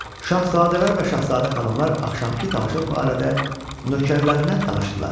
Şahzadələr və şahzadə xanımlar axşamkı tamaşa barədə nökərlərinə danışdılar.